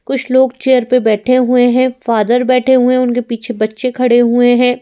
कुछ लोग चेयर में बैठे हुए हैं फादर बैठे हुए उनके पीछे बच्चे खड़े हुए हैं।